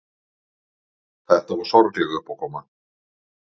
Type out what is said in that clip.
Þetta var sorgleg uppákoma.